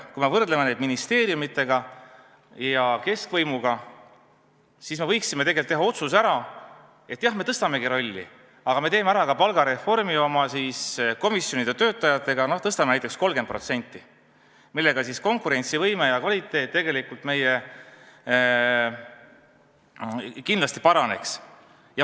Kui me võrdleme ministeeriumidega ja keskvõimuga, siis me võiksime teha otsuse, et jah, me suurendamegi oma rolli, aga me teeme ära ka oma komisjonide töötajate palgareformi, tõstame näiteks palka 30%, millega konkurentsivõime ja kvaliteet tegelikult meil kindlasti paraneks.